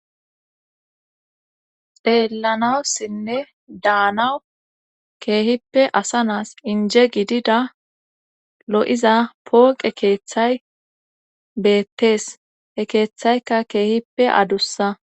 xeellanawusinne daanawu keehippe asa naas inje gidida lo7iza pooqe keeththay beettees e keeththaykka keehippe adussa